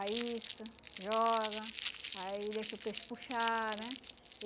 A isca, joga, aí deixa o peixe puxar, né?